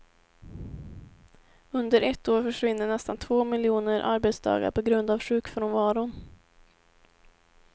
Under ett år försvinner nästan två miljoner arbetsdagar på grund av sjukfrånvaron.